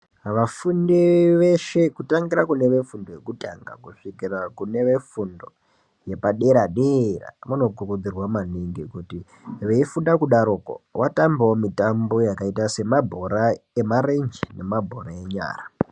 Vafunde veshe kutangira kune vefundo yekutanga kusvikira kune vefundo yepadera-dera, vanokurudzirwa maningi kuti veifunda kudarokwo vatambewo mitambo yakaita semabhora emarenje nemabhora enyara.